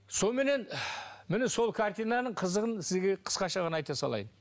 соныменен міне сол картинаның қызығын сізге қысқаша ғана айта салайын